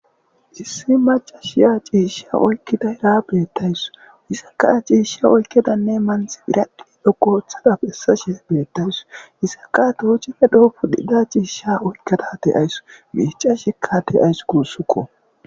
issi maca shiya ciishsha oykkida ira beettays isaka ciishsha oykkedanne manx iradhi dhoqoothadaphessa shea beettays isakatoochefe dhoo pudhida ciishsha oykkedate ayss miica shekkate ays guussukko